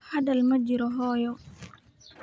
Hadal ma jiraan hooyo.